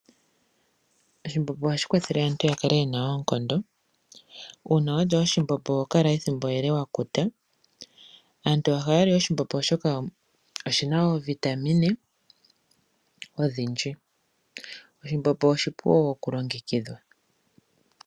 Oshimbombo ohashi kwathele aantu yakale yena oonkondo. Uuna walya oshimbombo oho Kala ethimbo ele wakuta. Aantu ohaya li oshimbombo oshoka oshina oovitamine odhindji. Oshimbombo oshipu wo okulongekidhwa.